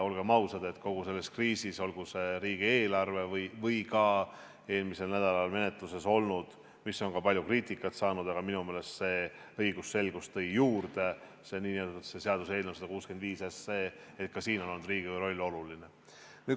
Olgem ausad, kogu selles kriisis, olgu see riigieelarve või ka eelmisel nädalal menetluses olnud seaduseelnõu 165 puhul, on olnud Riigikogu roll oluline.